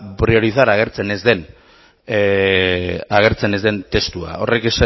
priorizar agertzen ez den testua